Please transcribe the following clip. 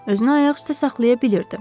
Özünü ayaq üstə saxlaya bilirdi.